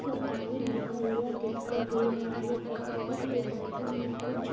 और पानी भरा हुआ दिखाई दे रहा है पत्तरों के बाजु मे कुछ--